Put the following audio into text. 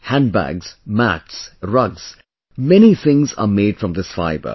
Handbags, mats, rugs, many things are made from this fibre